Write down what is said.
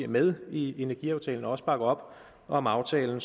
med i energiaftalen og også bakker op om aftalen